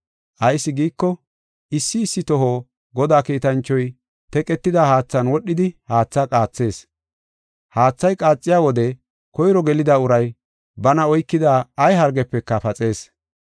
[Ayis giiko, issi issi toho Godaa kiitanchoy teqetida haathan wodhidi haatha qaathees. Haathay qaaxiya wode koyro gelida uray bana oykida ay hargefeka paxees.]